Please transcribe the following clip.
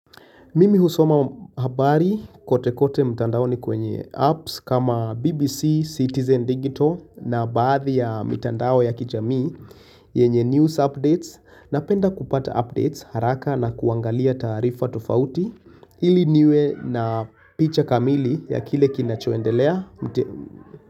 Mimi husoma habari kote kote mtandao ni kwenye apps kama BBC, Citizen Digital na baadhi ya mtandao ya kijami yenye news updates na penda kupata updates haraka na kuangalia taarifa tofauti ili niwe na picha kamili ya kile kinachoendelea.